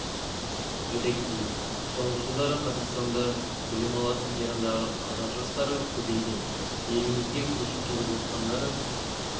айта кетейік соңғы жылдары қазақстанда білім алатын ирандағы қазақ жастары көбейген елімізге көшіп келіп жатқандары